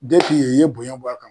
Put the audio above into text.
ye i ye bonya bɔ a kan